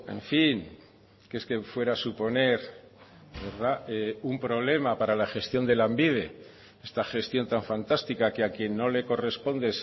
en fin que es que fuera suponer un problema para la gestión de lanbide esta gestión tan fantástica que a quien no le corresponde